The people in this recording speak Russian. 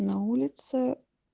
на улице